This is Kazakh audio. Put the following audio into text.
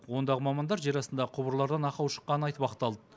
ондағы мамандар жер астындағы құбырлардан ақау шыққанын айтып ақталды